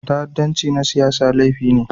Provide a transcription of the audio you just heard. Ta'addanci na siyasa laifi ne.